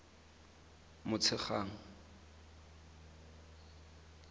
motshegang